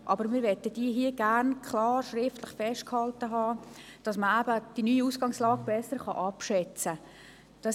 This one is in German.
Doch wir möchten sie hier gerne klar schriftlich festgehalten haben, damit man die neue Ausgangslage besser abschätzen kann.